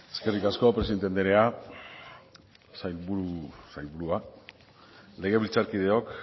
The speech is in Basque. zurea da hitza eskerrik asko presidente anderea sailburua legebiltzarkideok